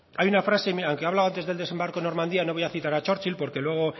hay una frase hay quien ha hablado del desembarco de normandia no voy a citar a churchill porque luego